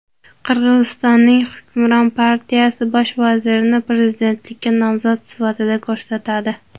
Qirg‘izistonning hukmron partiyasi bosh vazirni prezidentlikka nomzod sifatida ko‘rsatadi.